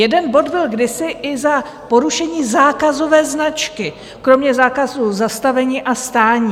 Jeden bod byl kdysi i za porušení zákazové značky, kromě zákazu zastavení a stání.